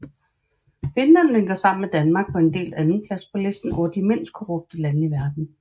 Finland ligger sammen med Danmark på en delt andenplads på listen over de mindst korrupte lande i verden